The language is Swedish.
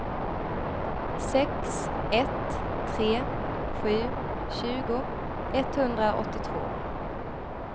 sex ett tre sju tjugo etthundraåttiotvå